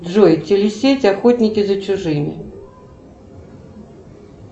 джой телесеть охотники за чужими